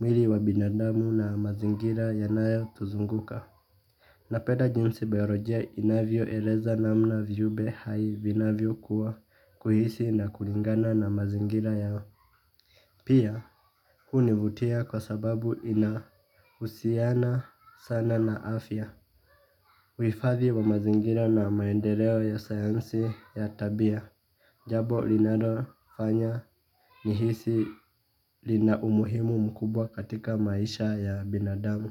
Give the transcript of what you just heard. Mwili wa binadamu na mazingira yanayotuzunguka ninapeda jinsi biolojia inavyoeleza namna viumbe hai vinavyokua, kuhisi na kulingana na mazingira yao. Pia, hunivutia kwa sababu inahusiana sana na afya. Uhifadhi wa mazingira na maendeleo ya sayansi ya tabia. Jabo linalofanya nihisi, linaumuhimu mkubwa katika maisha ya binadamu.